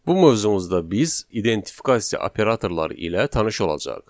Bu mövzumuzda biz identifikasıya operatorları ilə tanış olacağıq.